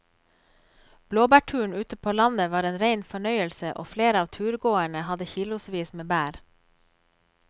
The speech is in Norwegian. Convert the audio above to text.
Blåbærturen ute på landet var en rein fornøyelse og flere av turgåerene hadde kilosvis med bær.